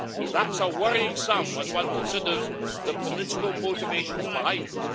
That's a worrying sum when one considers the political motivations behind it.